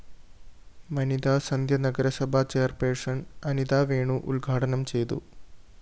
വനിതാസന്ധ്യ നഗരസഭാ ചെയർപേഴ്സൺ അനിതാവേണു ഉദ്ഘാടനം ചെയ്തു